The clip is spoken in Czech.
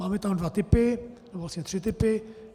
Máme tam dva typy, nebo vlastně tři typy.